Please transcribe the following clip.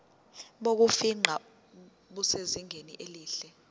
bokufingqa busezingeni elihle